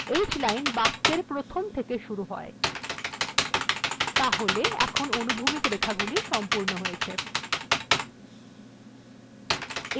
h line বাক্যএর প্রথম থেকে শুরু হয় তাহলে এখন আমাকে আনুভূমিক রেখাগুলি সমাপ্ত হয়েছে